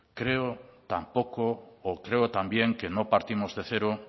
creo también que no partimos de cero